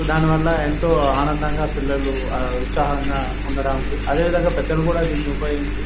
So దీనివల్ల ఎంతో ఆనందంగా పిల్లలు ఉత్సాహంగా ఉండడానికి అదేవిధంగా పెద్దలు కూడా దీన్ని ఉపయోగించి.